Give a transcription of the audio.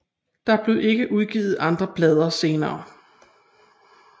Der blev ikke udgivet andre plader senere